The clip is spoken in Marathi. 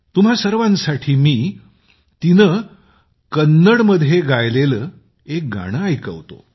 तुम्हा सर्वांसाठी मी तिने कन्नडमध्ये गायलेले एक गाणे इथे वाजवत आहे